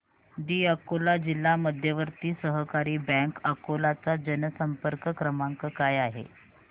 दि अकोला जिल्हा मध्यवर्ती सहकारी बँक अकोला चा जनसंपर्क क्रमांक काय आहे